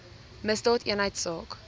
misdaadeenheidsaak